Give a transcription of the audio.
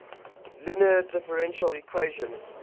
linear differential equation